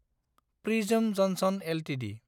prism Johnson Ltd